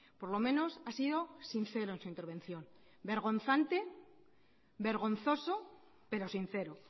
por lo menos ha sido sincero en su intervención vergonzante vergonzoso pero sincero